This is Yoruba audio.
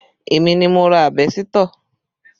Èmi ni mo ra àbẹ́sítọ̀